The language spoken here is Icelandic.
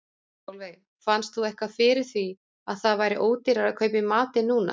Sólveig: Fannst þú eitthvað fyrir því að það væri ódýrara að kaupa í matinn núna?